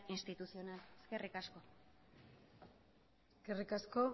institucional eskerrik asko eskerrik asko